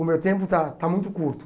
O meu tempo está está muito curto.